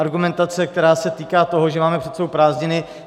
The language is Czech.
Argumentace, která se týká toho, že máme před sebou prázdniny...